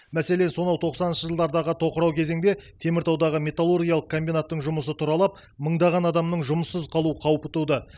мәселен сонау тоқсаныншы жылдардағы тоқырау кезеңде теміртаудағы металлургиялық комбинаттың жұмысы тұралап мыңдаған адамның жұмыссыз қалу қаупі туды